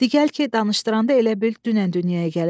Di gəl ki, danışdıranda elə bil dünən dünyaya gəlib.